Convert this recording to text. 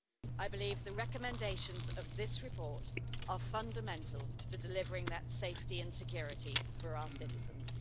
I believe the recommendations in this report are fundamental to delivering that safety and security to our citizens.